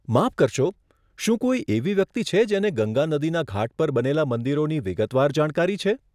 માફ કરશો, શું કોઈ એવી વ્યક્તિ છે જેને ગંગા નદીના ઘાટ પર બનેલા મંદિરોની વિગતવાર જાણકારી છે?